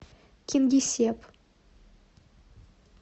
кингисепп